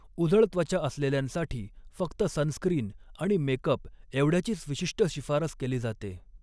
उजळ त्वचा असलेल्यांसाठी, फक्त सनस्क्रीन आणि मेकअप एवढ्याचीच विशिष्ट शिफारस केली जाते.